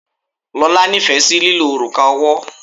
Lola nífẹ̀ẹ́ sí lílo òrùka ọwọ́.